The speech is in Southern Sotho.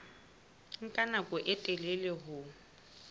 nka nako e telele ho